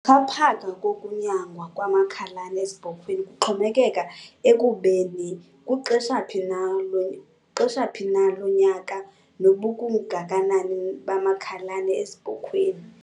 Ukuxhaphaka kokunyangwa kwamakhalane ezibhokhweni kuxhomekeka ekubeni kuxesha phi na lonyaka nakubungakanani bamakhalane ezibhokhweni.